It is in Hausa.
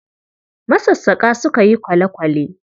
Masassaƙa suka yi kwale-kwale